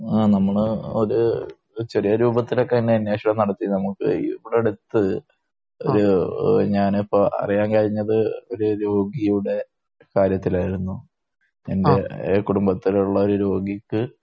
ആ നമ്മള് ഒരു ചെറിയ രൂപത്തിലൊക്കെ അതിന്റെ അന്വേഷണം നടത്തി. നമുക്ക് ഇവിടെ അടുത്ത് ഒരു ഞാനിപ്പോ അറിയാൻ കഴിഞ്ഞത് ഒരു രോഗിയുടെ കാര്യത്തിലായിരുന്നു. എന്റെ കുടുംബത്തിലുള്ള ഒരു രോഗിക്ക്